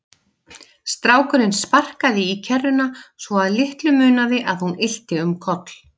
Strákurinn sparkaði í kerruna svo að litlu munaði að hún ylti um koll.